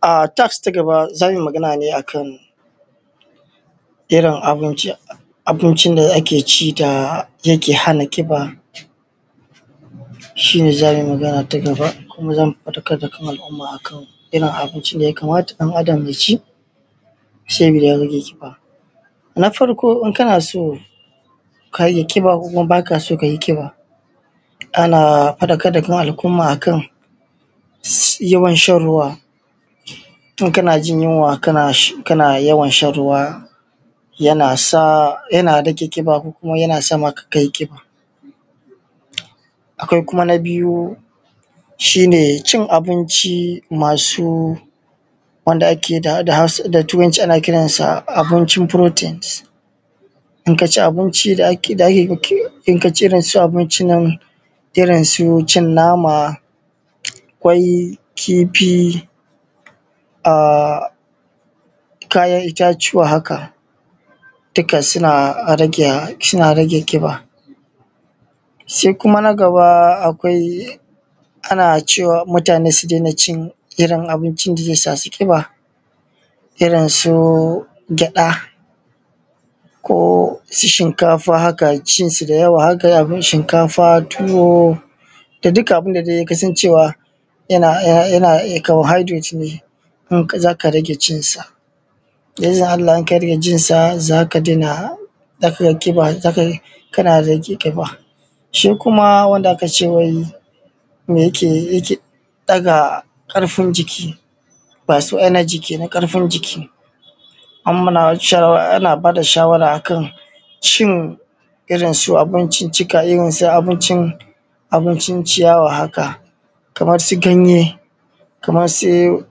A task ta gaba za mu yi magana ne akan irin abincin da ake ci yake hana ƙiba shi ne za a munmagana kuma za mu fadakar da al'umma a kan me ya kamata ɗan Adam ya ci Na rage ƙiba. Na farko idan kana so ka rage ƙiba ko idan ba ka so ka yi ƙiba, ana fadakar da al'umma akan yawan shan ruwa in kana jin yunwa kana yawan shan ruwa yana rage ƙiba ko yana sa ka yi ƙiba. Akwai kuma na biyu shi ne cin abinci masu wanda turanci ana ce abincin protains, idan ka ci abincin nan irin su cin nama kwai da kifi a kayan itatuwa haka duka suna ƙiba. Sai kuma na gaba, ana cewa mutane su rage cin irn abincin da zai sa su kiba irinsu gyada ko shinkafa haka cin su da yawa haka abin shinkafa tuwo da dukkan abun da kasan yana carbohydrate ne, za ka rage cinsa. Da izinin Allah idan ka rage cinsa za ka ga kana rage kiba. Shi Kuma Wanda aka ce wai me yake yi yake daga ƙarfi jiki masu energy kenan ƙarfin jiki, ana ba da shawara akan cin abinciccika irinsu abincin ciyawa kamar su ganye kamar su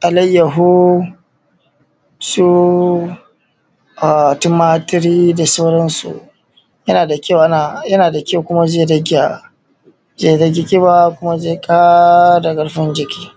alaiyahu su tumari da sauransu. Yana da ƙyau sosai kuma zai rage ƙiba kuma zai ƙara ƙarfi jiki.